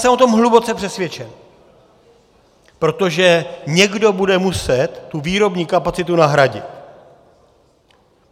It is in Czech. Jsem o tom hluboce přesvědčen, protože někdo bude muset tu výrobní kapacitu nahradit.